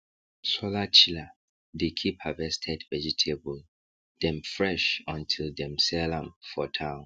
solar chiller dey keep harvested vegetable dem fresh until dem sell am for town